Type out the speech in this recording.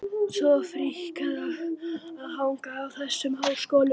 Svo fríkað að hanga í þessum háskólum!